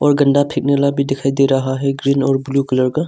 गंदा फेंकने वाला भी दिखाई दे रहा हैं ग्रीन और ब्लू कलर का।